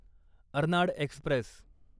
Arnad Express